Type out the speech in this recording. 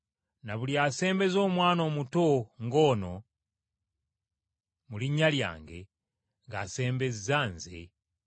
“Na buli asembeza omwana omuto ng’ono mu linnya lyange ng’asembeza Nze.